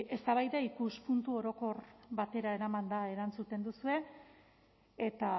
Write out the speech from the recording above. eztabaida ikuspuntu orokor batera eramanda erantzuten duzue eta